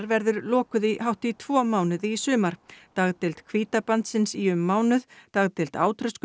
verður lokuð í hátt í tvo mánuði í sumar dagdeild í um mánuð dagdeild